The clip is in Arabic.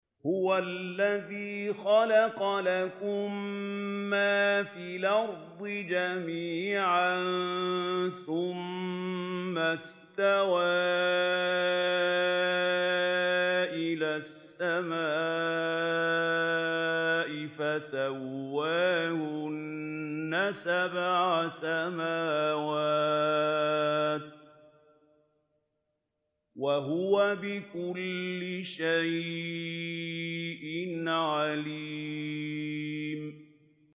هُوَ الَّذِي خَلَقَ لَكُم مَّا فِي الْأَرْضِ جَمِيعًا ثُمَّ اسْتَوَىٰ إِلَى السَّمَاءِ فَسَوَّاهُنَّ سَبْعَ سَمَاوَاتٍ ۚ وَهُوَ بِكُلِّ شَيْءٍ عَلِيمٌ